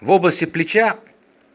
в области плеча